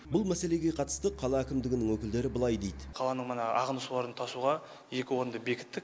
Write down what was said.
бұл мәселеге қатысты қала әкімдігінің өкілдері былай дейді қаланың мына ағынды суларын тасуға екі орынды бекіттік